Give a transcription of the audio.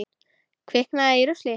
Kviknað í rusli?